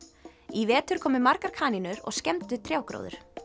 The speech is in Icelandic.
í vetur komu margar kanínur og skemmdu trjágróður